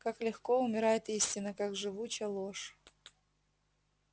как легко умирает истина как живуча ложь